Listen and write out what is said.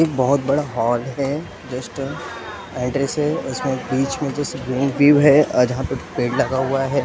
एक बहुत बड़ा हॉल है जस्ट एंट्रेंस है उसमें बीच में जस रूम व्यू है अ जहाँ पे पेड़ लगा हुआ है ए --